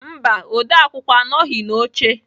Mba, odeakwụkwọ anọghị n'oche